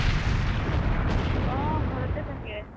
অ, ঘৰতে থাকে